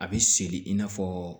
A bɛ seli in n'a fɔ